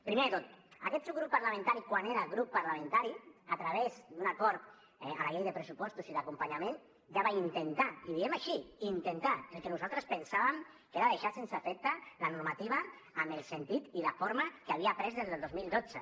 primer de tot aquest subgrup parlamentari quan era grup parlamentari a través d’un acord a les lleis de pressupostos i d’acompanyament ja va intentar i ho diem així intentar el que nosaltres pensàvem que era deixar sense efecte la normativa amb el sentit i la forma que havia pres des del dos mil dotze